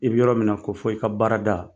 I bɛ yɔrɔ min na, ko fɔ. I ka baarada.